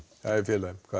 það er